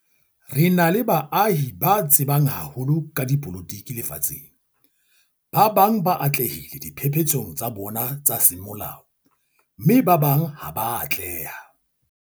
Re na le baahi ba tsebang haholo ka dipolotiki lefatsheng. Ba bang ba atlehile diphephetsong tsa bona tsa semolao mme ba bang ha ba a atleha.